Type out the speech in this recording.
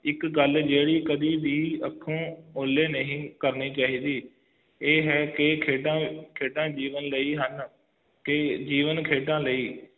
ਇੱਕ ਗੱਲ ਜਿਹੜੀ ਕਦੇ ਵੀ ਆਪਣੇ ਓਹਲੇ ਨਹੀਂ ਕਰਨੀ ਚਾਹੀਦੀ ਇਹ ਹੈ ਕਿ ਖੇਡਾਂ ਖੇਡਾਂ ਜੀਵਨ ਲਈ ਤੇ ਜੀਵਨ ਖੇਡਾਂ ਲਈ ਹਨ